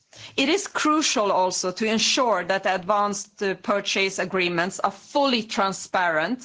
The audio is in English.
It is crucial also to ensure that advance purchase agreements are fully transparent.